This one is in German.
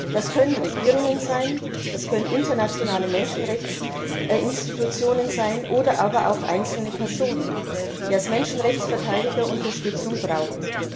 Das können Regierungen sein, das können internationale Menschenrechtsinstitutionen sein oder aber auch einzelne Personen, die als Menschenrechtsverteidiger Unterstützung brauchen.